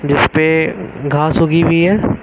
इस पे घास उगी हुई है।